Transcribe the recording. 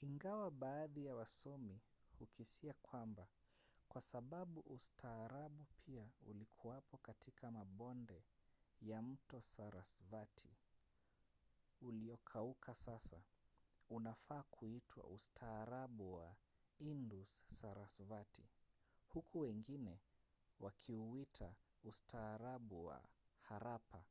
ingawa baadhi ya wasomi hukisia kwamba kwa sababu ustaarabu pia ulikuwapo katika mabonde ya mto sarasvati uliokauka sasa unafaa kuitwa ustaarabu wa indus-sarasvati huku wengine wakiuita ustaarabu wa harappa